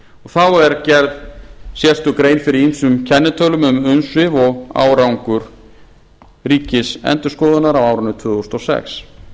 þá er gerð sérstök grein fyrir ýmsum kennitölum um umsvif og árangur ríkisendurskoðunar á árinu tvö þúsund og sex